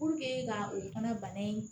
ka o fana bana in